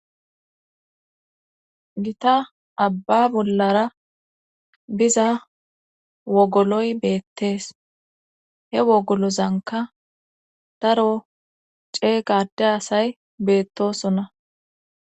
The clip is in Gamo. Gita abba bollara biza wogoloy beetes. He wogolozankka adro ceega adde asy beetosona